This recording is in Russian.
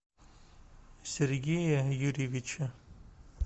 сергея юрьевича